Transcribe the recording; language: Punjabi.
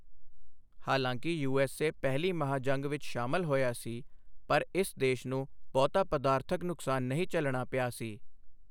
ਹਾਲਾਂਕਿ ਯੂ.ਐਸ.ਏ. ਪਹਿਲੀ ਮਹਾਂ ਜੰਗ ਵਿਚ ਸ਼ਾਮਲ ਹੋਇਆ ਸੀ ਪਰ ਇਸ ਦੇਸ਼ ਨੂੰ ਬਹੁਤਾ ਪਦਾਰਥਕ ਨੁਕਸਾਨ ਨਹੀਂ ਝੱਲਣਾ ਪਿਆ ਸੀ।